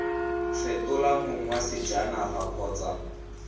fetola mong wa sejanaga kgotsa